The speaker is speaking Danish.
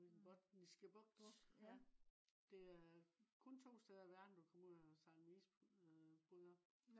ude i den botniske bugt. det er kun to steder i verden du kan komme ud og sejle med øh med isbryder